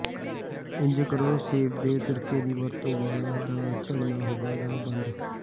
ਇੰਝ ਕਰੋ ਸੇਬ ਦੇ ਸਿਰਕੇ ਦੀ ਵਰਤੋ ਵਾਲਾਂ ਦਾ ਝੜਨਾ ਹੋਵੇਗਾ ਬੰਦ